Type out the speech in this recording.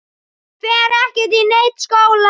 Ég fer ekkert í neinn skóla!